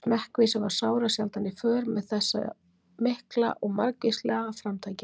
Smekkvísi var sárasjaldan í för með þessu mikla og margvíslega framtaki.